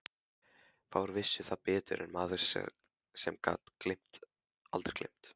Fáir vissu það betur en maður sem gat aldrei gleymt.